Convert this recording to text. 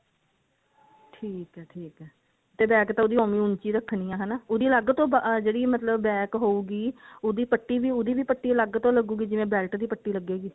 ਠੀਕ ਹੈ ਠੀਕ ਹੈ ਤੇ back ਤਾਂ ਉਹਦੀ ਓਵੇਂ ਹੋ ਉੱਚੀ ਰੱਖਣੀ ਹੈ ਹਨਾ ਉਹਦੀ ਅੱਲਗ ਤੋਂ ਜਿਹੜੀ ਮਤਲਬ back ਹੋਊਗੀ ਉਹਦੀ ਪੱਟੀ ਵੀ ਉਹਦੀ ਵੀ ਪੱਟੀ ਅਲੱਗ ਤੋ ਲਗੁਗੀ ਜਿਵੇਂ belt ਦੀ ਪੱਟੀ ਲਗੇਗੀ